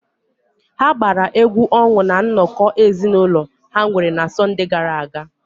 Ha gbara egwu ọṅụ na nnọkọ ezinụlọ ha nwere na Sọnde gara aga.